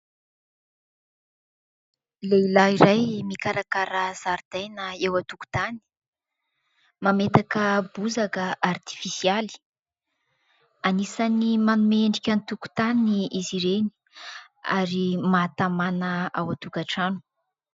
Lehilahy iray mikarakara zaridaina eo an-tokotany mametaka bozaka artifisialy, anisany manome endrika ny tokotany izy ireny ary mahatamana ao an-tokantrano.